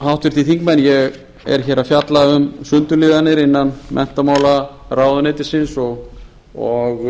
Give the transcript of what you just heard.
háttvirtir þingmenn ég er að fjalla um sundurliðanir innan menntamálaráðuneytisins og